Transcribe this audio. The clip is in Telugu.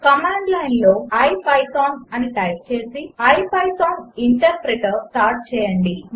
కమాండ్ లైన్లో ఇపిథాన్ అని టైప్ చేసి ఐపైథాన్ ఇంటర్ప్రెటర్ స్టార్ట్ చేయండి